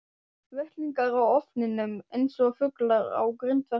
Vettlingar á ofninum eins og fuglar á grindverki.